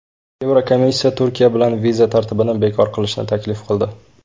Yevrokomissiya Turkiya bilan viza tartibini bekor qilishni taklif qildi .